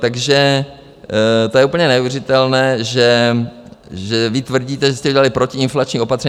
Takže to je úplně neuvěřitelné, že vy tvrdíte, že jste udělali protiinflační opatření.